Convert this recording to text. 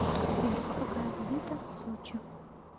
сбер какая валюта сочи